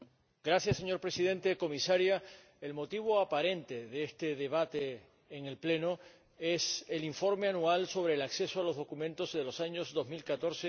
Señor Presidente, Comisaria, el motivo aparente de este debate en el Pleno es el informe anual sobre el acceso a los documentos en los años 2014 y